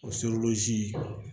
O